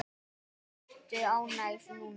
Jæja, ertu ánægð núna?